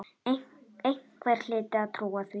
Einhver hlyti að trúa því.